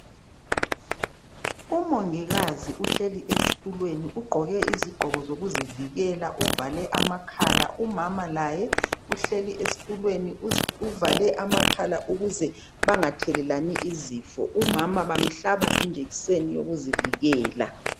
Umongikazi uhleli esitulweni ugqoke izigqoko zokuzivikela uvale amakhala umama laye uhleli esitulweni uvale amakhala ukuze bangathelelani izifo umama bamhlaba ijekiseni yokuzivikela.